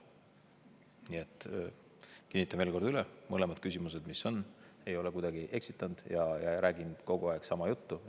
Nii et kinnitan veel kord üle, mõlemale küsimusele, mis: ei ole kuidagi eksitanud ja räägin kogu aeg sama juttu.